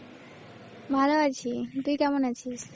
ভালো আছি, তুই কেমন আছিস?